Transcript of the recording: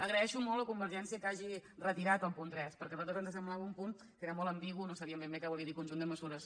agraeixo molt a convergència que hagi retirat el punt tres perquè a nosaltres ens semblava un punt que era molt ambigu no sabíem ben bé què volia dir conjunt de mesures